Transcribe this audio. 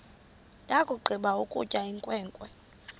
yakugqiba ukutya inkwenkwe